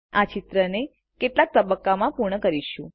આપણે આ ચિત્રને કેટલાક તબક્કાઓમાં પૂર્ણ કરીશું